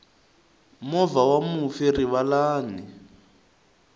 movha wa mufi rivalani